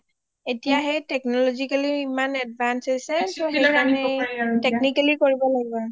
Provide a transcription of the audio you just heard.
এতিয়া সেই technologically ইমান advance হৈছে সেইটো কাৰণে কৰিব পাৰি এতিয়াso technically কৰিব লাগে